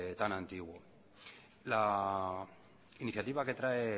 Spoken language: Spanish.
tan antiguo la iniciativa que trae